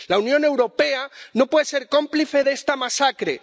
La Unión Europea no puede ser cómplice de esta masacre.